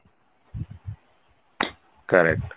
correct